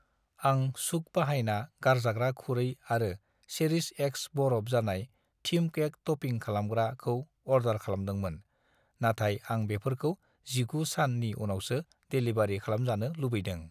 आं चुक बाहायना गारजाग्रा खुरै आरो चेरिश एक्स बरफ जानाय थिम केक ट'पिं खालामग्रा खौ अर्डार खालामदोंमोन, नाथाय आं बेफोरखौ 19 सान नि उनावसो डेलिबारि खालामजानो लुबैदों।